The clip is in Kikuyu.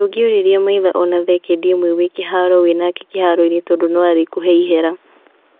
" Ndũngĩũruria maitho ona thekendi ĩmwe wĩ kĩharo wĩ nake kĩharo-inĩ tondũ no arĩkũhee ihera.